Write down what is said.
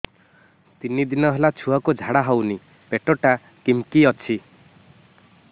ତିନି ଦିନ ହେଲା ଛୁଆକୁ ଝାଡ଼ା ହଉନି ପେଟ ଟା କିମି କି ଅଛି